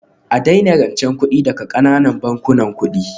A daina rancen kuɗi daga ƙananan bankunan kuɗi